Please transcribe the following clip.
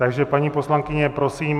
Takže paní poslankyně, prosím.